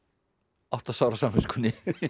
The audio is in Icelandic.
átta sár á samviskunni